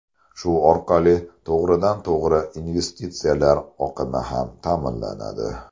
Shu orqali to‘g‘ridan to‘g‘ri investitsiyalar oqimi ham ta’minlanadi.